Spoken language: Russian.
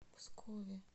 пскове